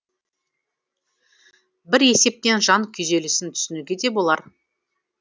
бір есептен жан күйзелісін түсінуге де болар